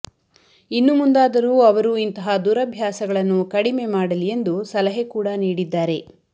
ಇನ್ನು ಮುಂದಾದರೂ ಅವರು ಇಂತಹ ದುರಭ್ಯಾಸಗಳನ್ನು ಕಡಿಮೆ ಮಾಡಲಿ ಎಂದು ಸಲಹೆ ಕೂಡ ನೀಡಿದ್ದಾರೆ